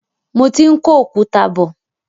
Mo ti ń kó òkúta bọ.